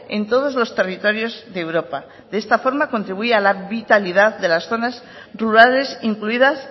en todos los territorios de europa de esta forma contribuye a la vitalidad de las zonas rurales incluidas